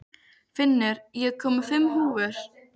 Finnur, ég kom með fimm húfur!